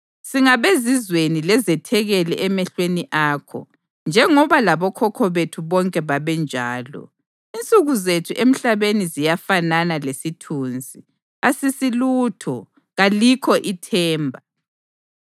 Singabezizweni lezethekeli emehlweni akho, njengoba labokhokho bethu bonke babenjalo. Insuku zethu emhlabeni ziyafanana lesithunzi, asisilutho, kalikho ithemba.